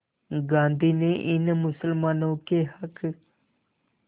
गांधी ने इन मुसलमानों के हक़